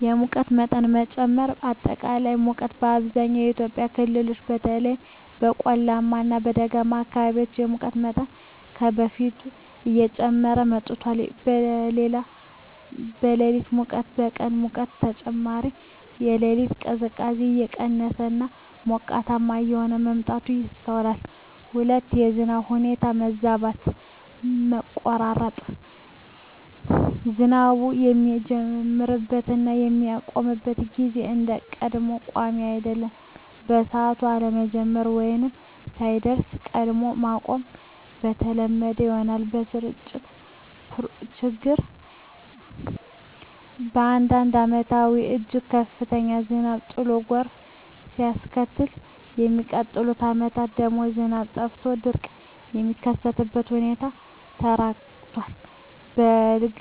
1)የሙቀት መጠን መጨመር >>አጠቃላይ ሙቀት: በአብዛኛው የኢትዮጵያ ክፍሎች (በተለይም በቆላማ እና ደጋማ አካባቢዎች) የሙቀት መጠን ከበፊቱ እየጨመረ መጥቷል። >>የሌሊት ሙቀት: ከቀን ሙቀት በተጨማሪ፣ የሌሊት ቅዝቃዜ እየቀነሰ እና ሞቃታማ እየሆነ መምጣቱ ይስተዋላል። 2)የዝናብ ሁኔታ መዛባት >>መቆራረጥ: ዝናቡ የሚጀምርበት እና የሚያቆምበት ጊዜ እንደ ቀድሞው ቋሚ አይደለም። በሰዓቱ አለመጀመር ወይም ሳይደርስ ቀድሞ ማቆም የተለመደ ሆኗል። >>የስርጭት ችግር: በአንዳንድ ዓመታት እጅግ ከፍተኛ ዝናብ ጥሎ ጎርፍ ሲያስከትል፣ በሚቀጥሉት ዓመታት ደግሞ ዝናብ ጠፍቶ ድርቅ የሚከሰትበት ሁኔታ ተበራክቷል። የ"በልግ"